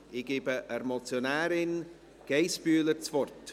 Ich gebe der Motionärin Sabina Geissbühler das Wort.